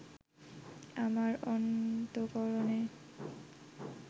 আমার অন্তঃকরণে